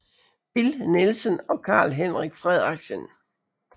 Bill Nielsen og Karl Henrik Frederiksen